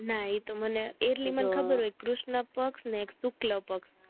ના ઈ તો મને એટલી મને ખબર હોય કૃષ્ણ પક્ષ અને એક શુક્લપક્ષ